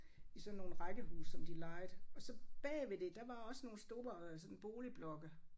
I sådan nogle rækkehuse som de lejede og så bagved det der var også nogle store sådan boligblokke